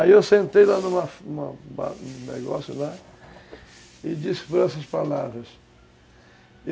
Aí eu sentei lá em um negócio e disse essas palavras.